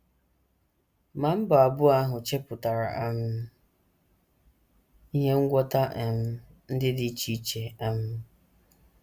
Ma mba abụọ ahụ chepụtara um ihe ngwọta um ndị dị iche. um